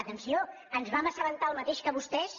atenció ens vam assabentar del mateix que vostès